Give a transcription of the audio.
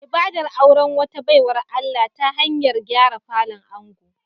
Ibadar auren wata baiwar Allah ta hanyar gyara falon ango